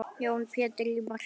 Jón Pétur í markið!